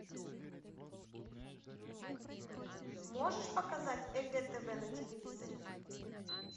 можешь показать егэ тв на телевизоре